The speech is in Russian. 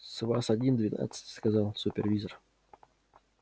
с вас один двенадцать сказал супервизор